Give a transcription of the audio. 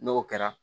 N'o kɛra